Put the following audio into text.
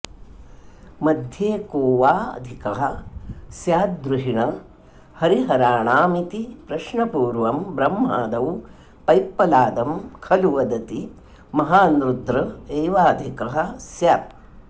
मध्ये को वाऽधिकः स्याद्द्रुहिण हरिहराणामिति प्रश्नपूर्वं ब्रह्मादौ पैप्पलादं खलु वदति महान्रुद्र एवाधिकः स्यात्